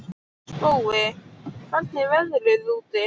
Spói, hvernig er veðrið úti?